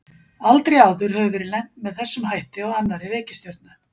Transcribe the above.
Aldrei áður hefur verið lent með þessum hætti á annarri reikistjörnu.